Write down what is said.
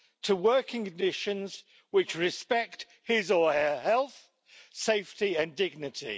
to working conditions which respect his or her health, safety and dignity.